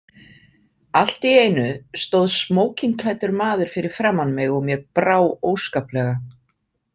Allt í einu stóð smókingklæddur maður fyrir framan mig og mér brá óskaplega.